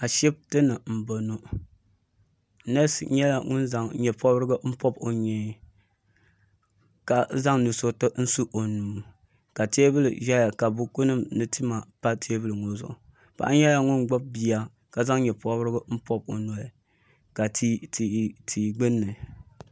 ashibiti ni n bɔŋɔ neesi nyɛla ŋun zaŋ nyɛ pobirigu pobi o nyee ka zaŋ nusuriti n su o nuu ka teebuli ʒɛya ka buku nim ni tima pa teebuli ŋɔ zuɣu paɣa nyɛla gbubi bia ka zaŋ nyɛ pobirigu pobi o noli ka tia gbunni